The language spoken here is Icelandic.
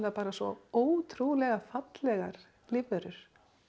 bara svo ótrúlega fallegar lífverur